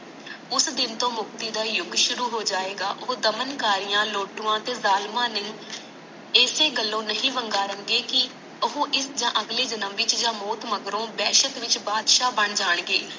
ਉਸ ਦਿਨ ਤੋਂ ਮੁਕਤੀ ਦਾ ਯੁੱਗ ਸ਼ੁਰੂ ਹੋ ਜਾਇਗਾ ਉਹ ਦਮਨ ਕਾਰੀਆਂ ਲੋਟੂਆਂ ਤੇ ਜਾਲਿਮਾਂ ਨੂੰ ਇਸੇ ਗਲੋਂ ਨਹੀਂ ਵੰਗਾਰਨ ਗਏ ਕੀ ਉਹ ਇਸ ਯ ਅਗਲੇ ਜਨਮ ਵਿਚ ਯ ਮੌਤ ਮਗਰੋਂ ਵਸਤ ਵਿੱਚ ਬਾਦਸ਼ਾ ਬਣ ਜਾਣਗੇ